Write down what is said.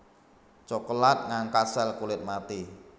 Cokelat ngangkat sel kulit mati